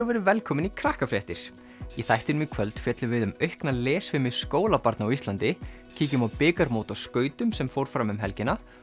og verið velkomin í Krakkafréttir í þættinum í kvöld fjöllum við um aukna lesfimi skólabarna á Íslandi kíkjum á bikarmót á skautum sem fór fram um helgina